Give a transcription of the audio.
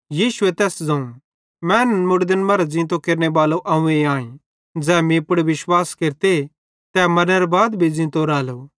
यीशुए तैस ज़ोवं मैनन् मुड़दन मरां ज़ींते केरनेबालो अव्वें आईं ज़ै मीं पुड़ विश्वास केरते तै मरनेरां बाद भी ज़ींतो रालो